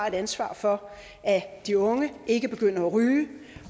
et ansvar for at de unge ikke begynder at ryge